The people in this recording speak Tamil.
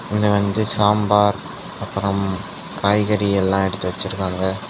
இங்க வந்து சாம்பார் அப்ரம் காய்கறி எல்லா எடுத்து வச்சிருக்காங்க.